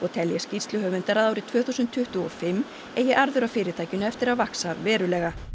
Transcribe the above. telja skýrsluhöfundar að árið tvö þúsund tuttugu og fimm eigi arður af fyrirtækinu eftir að vaxa verulega